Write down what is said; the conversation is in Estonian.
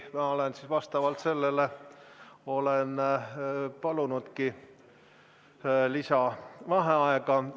Ma vastavalt sellele olen palunudki lisavaheaega.